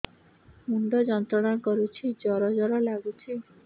ମୁଣ୍ଡ ଯନ୍ତ୍ରଣା କରୁଛି ଜର ଜର ଲାଗୁଛି